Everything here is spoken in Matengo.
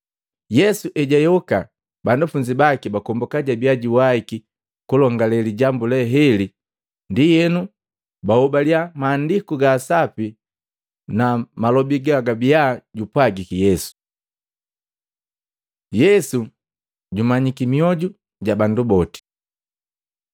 Yesu ejayoka, banafunzi baki bakombuka jabiya juwaiki kulongale lijambu le heli, ndienu bahobaliya Maandiku ga Sapi na malobi gajabiya jupwagiki Yesu. Yesu jumanyiki mioju ja bandu boti